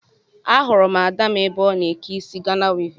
Ahụrụ m Ada m ebe ọ n'eke isi Ghana wivin